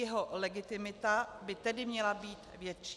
Jeho legitimita by tedy měla být větší.